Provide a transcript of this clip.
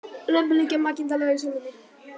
Lömbin liggja makindalega í sólinni